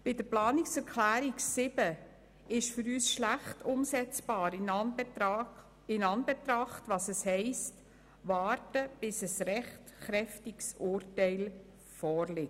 Bei der Planungserklärung 7 ist für uns schlecht umsetzbar, dass man auf ein rechtskräftiges Urteil warten muss.